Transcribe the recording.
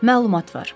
Məlumat var.